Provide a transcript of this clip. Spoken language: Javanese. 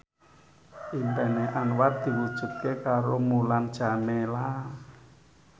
impine Anwar diwujudke karo Mulan Jameela